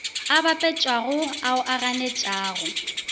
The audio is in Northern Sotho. a bapetšago ao a ganetšwago